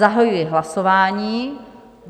Zahajuji hlasování.